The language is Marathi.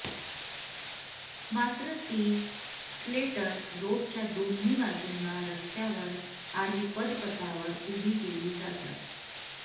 मात्र ती स्लेटर रोडच्या दोन्ही बाजूंना रस्त्यांवर आणि पदपथावर उभी केली जातात